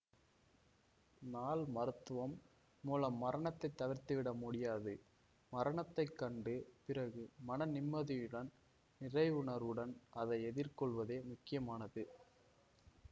னால் மருத்துவம் மூலம் மரணத்தை தவிர்த்துவிட முடியாது மரணத்தைக் கண்டு பிறகு மனநிம்மதியுடன் நிறைவுணர்வுடன் அதை எதிர் கொள்வதே முக்கியமானது